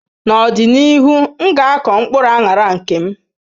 N'ọdịnihu, m ga ako mkpuru anara nke m.